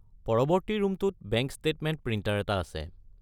পৰৱৰ্তী ৰূমটোত, bank statement printer এটা আছে।